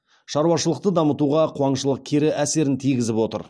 шаруашылықты дамытуға қуаңшылық кері әсерін тигізіп отыр